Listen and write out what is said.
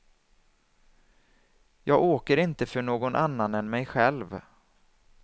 Jag åker inte för någon annan än mig själv.